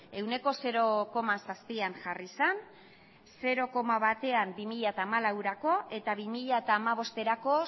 ehuneko zero koma zazpian jarri zen zero koma batean bi mila hamalaurako eta bi mila hamabosterako